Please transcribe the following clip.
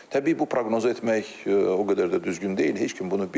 Təbii bu proqnoz etmək o qədər də düzgün deyil, heç kim bunu bilmir.